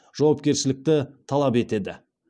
жауапкершілікті талап етеді